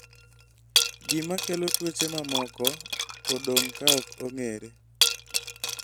gima kelo tuoche mamoko odong' kaok ong'ere